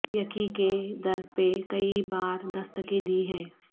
یقیں کے در پہ کئی بار دستکیں دی ہیں